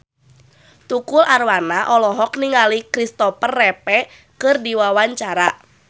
Tukul Arwana olohok ningali Kristopher Reeve keur diwawancara